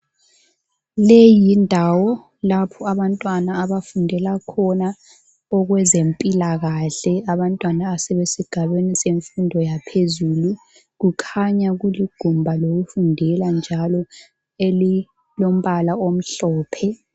Ieyi yindawo lapho abantwana abafundela khona ezempilakahle abantwana abasesigabeni semfundo yaphezulu kukhanya kulidumba lokufundela njalo elilombala omhlophe.